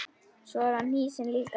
Svo er hann hnýsinn líka.